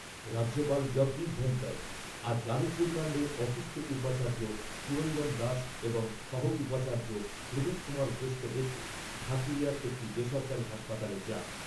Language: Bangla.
রাজ্যপাল জগদীপ ধনখড় আজ যাদবপুর কাণ্ডে অসুস্থ উপাচার্য সুরঞ্জন দাস এবং সহ উপাচার্য প্রদীপ কুমার ঘোষকে দেখতে ঢাকুরিয়ার একটি বেসরকারি হাসপাতালে যান।